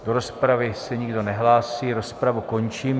Do rozpravy se nikdo nehlásí, rozpravu končím.